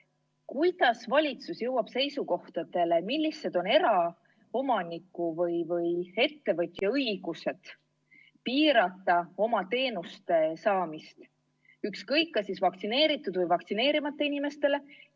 Kuidas valitsus jõuab seisukohtadele, millised on eraomaniku või ettevõtja õigused piirata oma teenuste osutamist ükskõik kas siis vaktsineeritud või vaktsineerimata inimestele?